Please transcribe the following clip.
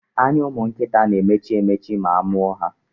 Anya ụmụnkịta na-emechi emechi ma amụọ ha.